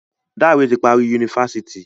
Dare ti parí Yunifásitì